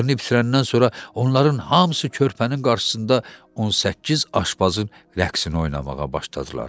İşlərini bitirəndən sonra onların hamısı körpənin qarşısında 18 aşpazın rəqsini oynamağa başladılar.